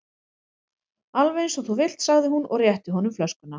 Alveg eins og þú vilt sagði hún og rétti honum flöskuna.